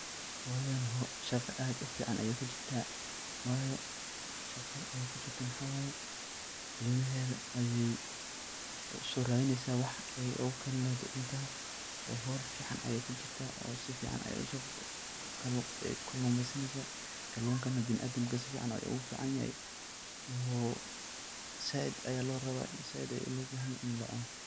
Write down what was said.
Hooyadhan shaqo aad u fican ayaay kujirtaa. Waayo, shaqadh aay kujirto maxaa waay, ilmaheedhi ayey u soo raadhinaysaa wax ay ugu karin leheedh cuntadha. Oo hol ficaan ayaay kujirta oo si ficaan aya u soo kaluumaysanaysaa. Kalunkana bina'aadinka sificaan ugu ficaanyahay oo saaid ayaa loo rabaa. In saaid ayaa lo baahinyahay in la cuno.